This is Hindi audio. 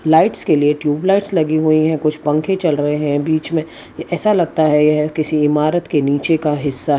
लाइट्स के लिए ट्यूब लाइटस लगी हुई है कुछ पंखे चल रहे हैं बीच में ऐसा लगता है यह किसी इमारत के नीचे का हिस्सा --